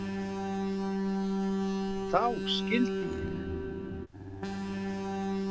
Þá skildi ég.